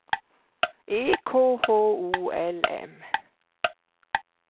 E K H O L M